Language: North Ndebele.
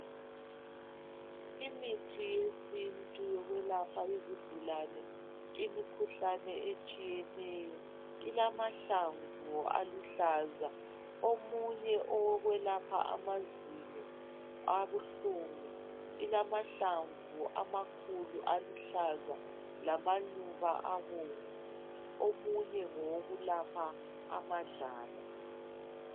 Imithi yesintu yokwelapha izigulane imikhuhlane etshiyeneyo ilamahlamvu aluhlaza omunye owokwelapha amazinyo abuhlungu ulamahlamvu amakhulu aluhlaza lamaluba abomvu. Omunye ngowokwelapha amadlala.